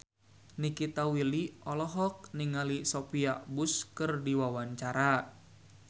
Nikita Willy olohok ningali Sophia Bush keur diwawancara